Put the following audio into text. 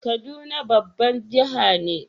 Kaduna babban jihar ne.